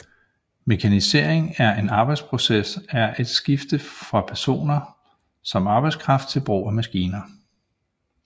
Mekanisering af en arbejdsproces er et skifte fra personer som arbejdskraft til brug af maskiner